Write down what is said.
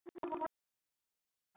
Þín Heba.